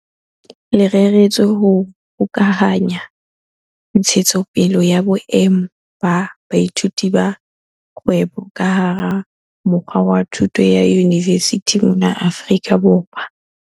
Le reretswe ho hokahanya ntshetsopele ya boemo ba boithuti ba kgwebo ka hara mokga wa thuto ya yunivesithi mona Afrika Borwa.